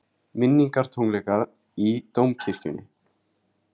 Minningartónleikar í Dómkirkjunni